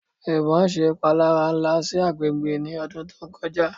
Ibon ṣe ipalara nla si agbegbe ni ọdun to koja